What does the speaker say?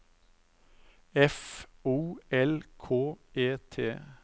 F O L K E T